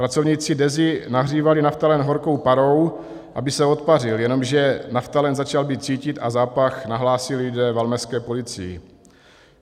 Pracovníci Dezy nahřívali naftalen horkou parou, aby se odpařil, jenomže naftalen začal být cítit a zápach nahlásili lidé valmezské policii.